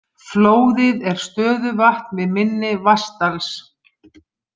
Flóðið er stöðuvatn við mynni Vatnsdals.